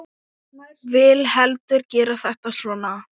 Vil heldur gera þetta svona.